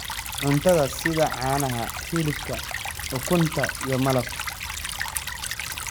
cuntada sida caanaha, hilibka, ukunta, iyo malab.